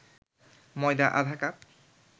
ময়দা আধা কাপ